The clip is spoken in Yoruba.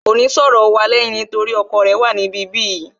Kò ní sọ̀rọ̀ wa lẹ́yìn torí ọkọ rẹ̀ wà ní ibi bí yìí